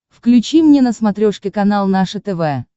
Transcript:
включи мне на смотрешке канал наше тв